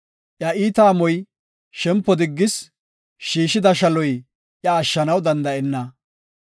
“Iya iita amoy shempo diggis; shiishida shaloy iya ashshanaw danda7enna.